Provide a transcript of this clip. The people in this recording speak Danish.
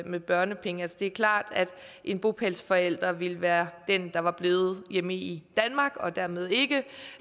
med børnepenge det er klart at en bopælsforælder ville være den der var blevet hjemme i danmark og dermed ikke